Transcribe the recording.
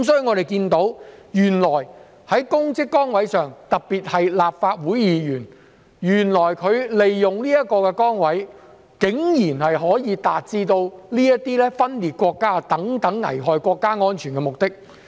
我們看到原來有人，特別是立法會議員，利用公職崗位竟然可以達致分裂國家等危害國家安全的目的。